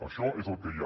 això és el que hi ha